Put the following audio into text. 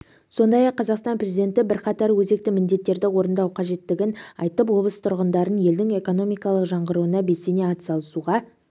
сондай-ақ қазақстан президенті бірқатар өзекті міндеттерді орындау қажеттігін айтып облыс тұрғындарын елдің экономикалық жаңғыруына белсене атсалысуға